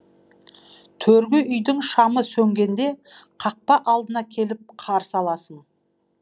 төргі үйдің шамы сөнгеде қақпа алдына келіп қарсы аласың